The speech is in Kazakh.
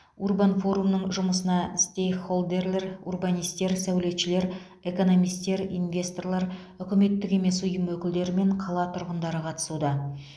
урбан форумның жұмысына стейкхолдерлер урбанистер сәулетшілер экономистер инвесторлар үкіметтік емес ұйым өкілдері мен қала тұрғындары қатысуда